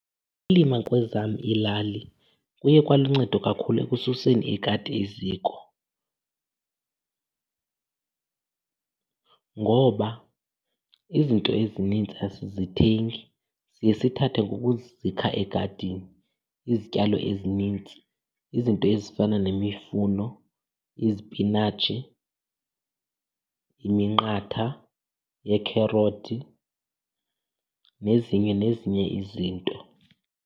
Ukulima kwezam iilali kuye kwaluncedo kakhulu ekususeni ikati eziko ngoba izinto ezinintsi asizithengi, siye sithathe ngokuzikha egadini izityalo ezinintsi. Izinto ezifana nemifuno, izipinatshi, iminqatha yeekherothi, nezinye nezinye izinto.